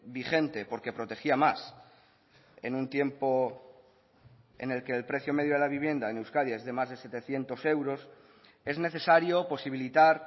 vigente porque protegía más en un tiempo en el que el precio medio de la vivienda en euskadi es de más de setecientos euros es necesario posibilitar